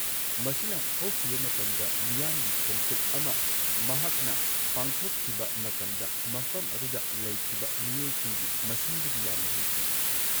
ꯃꯁꯤꯅ ꯍꯧꯈꯤꯕ ꯃꯇꯝꯗ ꯃꯤꯌꯥꯝꯒꯤ ꯈꯣꯡꯆꯠ ꯑꯃ ꯃꯍꯥꯛꯅ ꯄꯥꯡꯊꯣꯛꯈꯤꯕ ꯃꯇꯝꯗ ꯃꯐꯝ ꯑꯗꯨꯗ ꯂꯩꯈꯤꯕ ꯃꯤꯑꯣꯏꯁꯤꯡꯒꯤ ꯃꯁꯤꯡꯗꯒꯤ ꯌꯥꯝꯅ ꯍꯦꯟꯈꯤ꯫